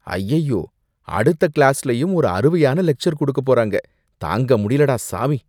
அய்யய்யோ! அடுத்த கிளாஸ்லயும் ஓரு அறுவையான லெக்ச்சர் குடுக்கப் போறாங்க, தாங்க முடியலடா சாமி!